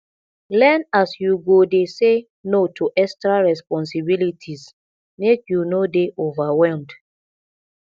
learn as you go dey say no to extra responsibilities make you no dey overwhelmed